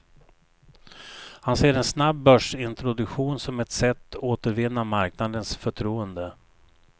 Han ser en snabb börsintroduktion som ett sätt återvinna marknadens förtroende.